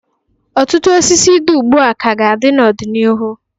Ọtụtụ osisi dị ugbu a ka ga-adị n'ọdịnihu.